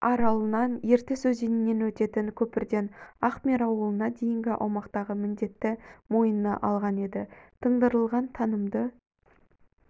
аралынан ертіс өзенінен өтетін көпірден ахмер ауылына дейінгі аумақтағы міндетті мойнына алған еді тыңдырылған тынымды